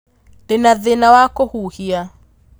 Ndĩna thĩna wa kũhuhia